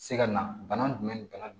Se ka na bana jumɛn de bana